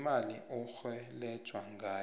imali orhelejwa ngayo